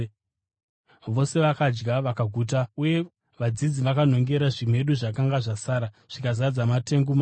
Vose vakadya vakaguta. Mushure, vadzidzi vakanhongera zvimedu zvakanga zvasara zvikazadza matengu manomwe.